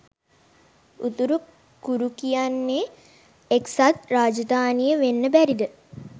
උතුරු කුරුකියන්නේ එක්සත් රාජධානිය වෙන්න බැරිද?